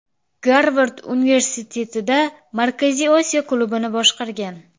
Garvard Universitetida Markaziy Osiyo klubini boshqargan.